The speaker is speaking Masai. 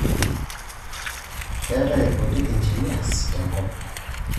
Keetai irkutik engineers tena kop.